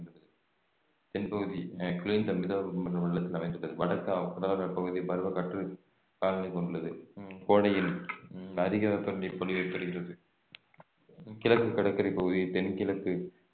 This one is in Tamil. தென்பகுதி அஹ் குளிர்ந்த மித வெப்ப மண்டல அமைந்துள்ளது வடக்கு கடலோரப்பகுதி பருவக்காற்று காலநிலை கொண்டுள்ளது உம் கோடையில் அதிக வெப்பநிலை பொழிவை பெறுகிறது கிழக்கு கடற்கரை பகுதி தென்கிழக்கு